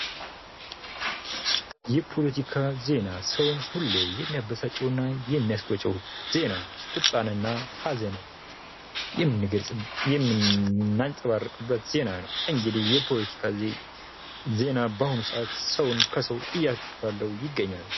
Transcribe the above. የፖለቲካ ዜና ሰውን ሁሌ የሚያበሳጨው እና የሚያስቆጨው ዜና ቁጣንና ሐዘን የምናንፅባርቅበት ዜና ነው። እንግዲህ የፖለቲካ ዜና በአሁኑ ሰአት ሰውን ከሰው እየባላው ይገኛል።